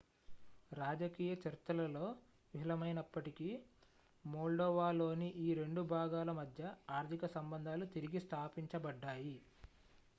రాజకీయ చర్చలలో విఫలమైనప్పటికీ మోల్డోవాలోని ఈ 2 భాగాల మధ్య ఆర్థిక సంబంధాలు తిరిగి స్థాపించబడ్డాయి